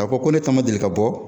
K'a fɔ ko ne ta ma deli ka bɔ.